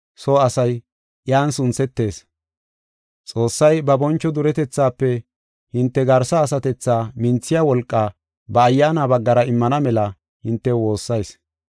Xoossay ba boncho duretethaafe hinte garsa asatethaa minthiya wolqaa ba Ayyaana baggara immana mela hintew woossayis.